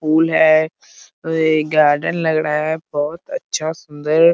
फूल है गार्डन लग रहा है बहुत अच्छा सुंदर --